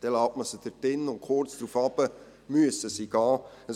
Dann lässt man sie dort drin, und kurze Zeit später müssen sie gehen.